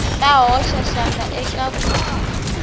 ta hoxa xandla eka ku